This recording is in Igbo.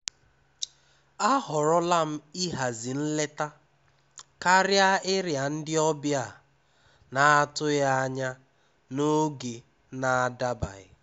À họ́rọ́lá m íhází nlétá kárịá íriá ndí ọ́bịà à nà-àtụghí ányá n’ógé nà-àdábaghí.